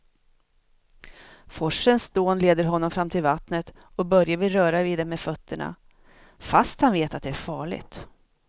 Forsens dån leder honom fram till vattnet och Börje vill röra vid det med fötterna, fast han vet att det är farligt.